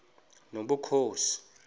nobukhosi